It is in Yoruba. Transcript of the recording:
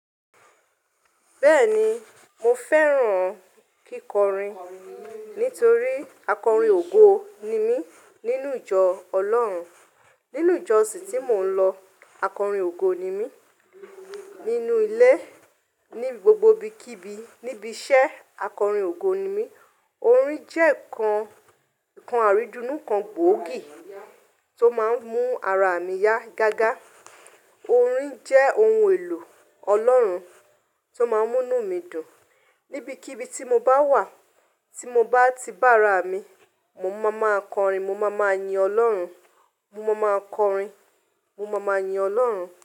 Bẹ́ẹ̀ni, mo fẹ́ràn kíkọrin nítorí akọrin ògo ni mí nínú ìjọ Ọlọ́run. Nínú ìjọ òsì tí mò ń lọ, akọrin ògo ni mí. Nínú ilé, ní gbogbo ibi kí ibi, níbi iṣẹ́ akọrin ògo ni mí. Orin jẹ́ ǹkan, ǹkan àrídúnú kan gbóògì tó máa n mú ara mi yá gágá. Orin jẹ́ ohun èlò Ọlọ́run tó máa ń múnu mi dùn. Nibikíbi tí mo bá wà, tí mo bá ti bá ara mi, mo máa máa kọrin, mo máa máa yin Ọlọ́run, mo máa máa kọrin, mo máa máa yin Ọlọ́run.